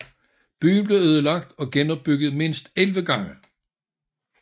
Byen blev ødelagt og genopbygget mindst 11 gange